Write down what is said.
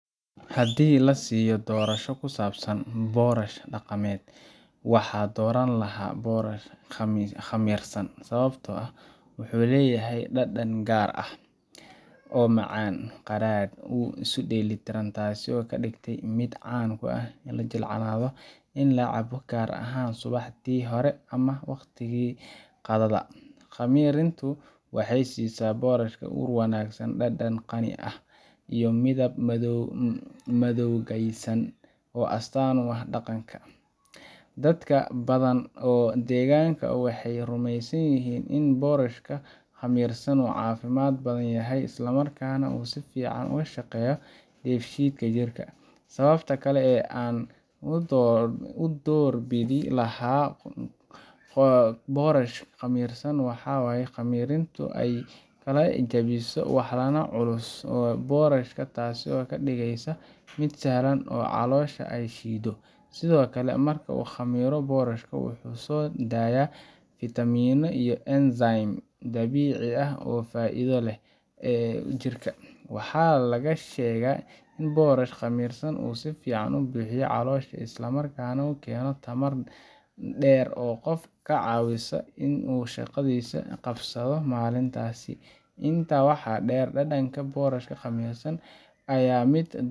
Haddii la i siiyo doorasho ku saabsan boorash dhaqameed, waxaan dooran lahaa boorash khamirsan sababtoo ah wuxuu leeyahay dhadhan gaar ah, oo macaan-qadhaadh isu dheellitiran, taasoo ka dhigtay mid caan ah oo la jeclaado in la cabo gaar ahaan subaxii hore ama waqtiga qadada. Khamirintu waxay siisaa boorashka ur wanaagsan, dhadhan qani ah, iyo midab madowgaysan oo astaan u ah dhaqanka. Dad badan oo deegaanka ah waxay rumeysan yihiin in boorashka khamirsan uu caafimaad badan yahay, islamarkaana uu si fiican uga shaqeeyo dheefshiidka jirka. Sababta kale ee aan u doorbidi lahaa boorash khamirsan waxay tahay in khamirintu ay kala jabiso walxaha culus ee boorashka, taasoo ka dhigeysa mid sahlan in caloosha ay shiido. Sidoo kale, marka uu khamiro, boorashka wuxuu soo daayaa fitamiinno iyo enzymes dabiici ah oo faa’iido u leh jirka. Waxaa la sheegaa in boorash khamirsan uu si fiican u buuxiyo caloosha, isla markaana uu keeno tamar dheer oo qofka ka caawisa in uu shaqadiisa qabsado maalintaas. Intaas waxaa dheer, dhadhanka boorash khamirsan ayaa mid